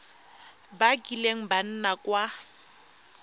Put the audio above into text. ba kileng ba nna kwa